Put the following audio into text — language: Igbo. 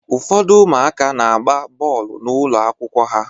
Ụfọdụ ụmụaka na-agba bọọlụ n'ụlọ akwụkwọ ha